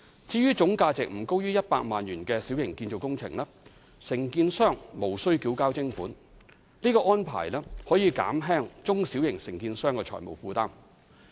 至於總價值不高於100萬元的小型建造工程，承建商則無須繳交徵款，而這個安排可以減輕中小型承建商的財務負擔。